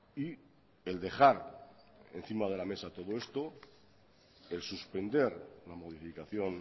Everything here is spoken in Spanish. y el dejar encima de la mesa todo esto el suspender la modificación